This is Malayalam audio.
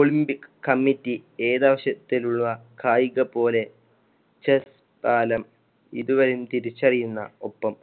olympic committee ഏതാവശ്യത്തിലുള്ള കായിക പോലെ chess താലം ഇതുവരെയും തിരിച്ചറിയുന്ന ഒപ്പം